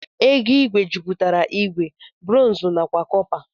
ego igwe jiputara igwe, bronzu nakwa cọpa.